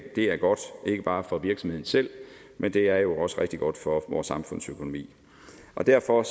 er godt ikke bare for virksomheden selv men det er jo også rigtig godt for vores samfundsøkonomi derfor